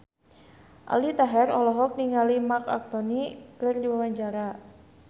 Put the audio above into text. Aldi Taher olohok ningali Marc Anthony keur diwawancara